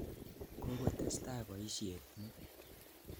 Kokotesetai poisyet nyi.